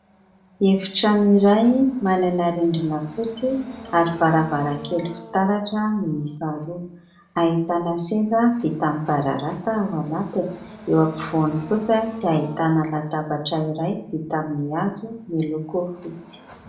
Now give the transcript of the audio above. Efitrano iray manana rindrina fotsy ary varavarankely fitaratra mihisa roa, ahitana seza vita amin'ny bararata ao anatiny, eo ampovoany kosa dia ahitana latabatra iray vita amin'ny hazo miloko fotsy.